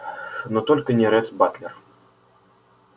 но только не ретт батлер